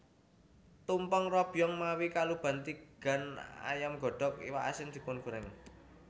Tumpeng robyong mawi kuluban tigan ayam godhog iwak asin dipungoréng